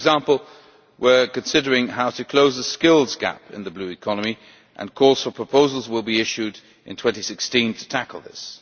For example, we are considering how to close the skills gap in the Blue Economy, and calls for proposals will be issued in 2016 to tackle this.